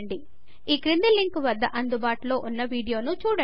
ఈ క్రింది లింకు వద్ద అందుబాటులో ఉన్న వీడియో ను చూడండి